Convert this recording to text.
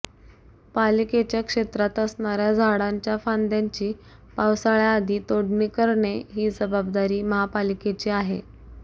पालिकेच्या क्षेत्रात असणाऱ्या झाडांच्या फांद्यांची पावसाळ्य़ाआधी तोडणी करणे ही जबाबदारी महापालिकेची आहे